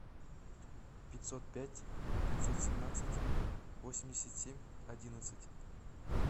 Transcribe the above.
пятьсот пять пятьсот семнадцать восемьдесят семь одиннадцать